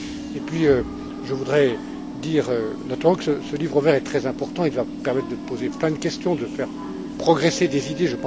Et puis, je voudrais dire, du reste, que ce livre vert est très important et doit permettre de poser de nombreuses questions, de faire progresser des idées.